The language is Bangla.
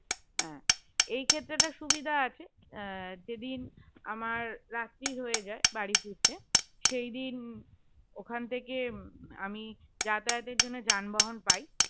হ্যাঁ এই ক্ষেত্রে সুবিধা আছে যেদিন আমার রাত্রির হয়ে যায় বাড়ি ফিরতে সেদিন ওখান থেকে আমি যাতায়াতের জন্য যানবাহন পাই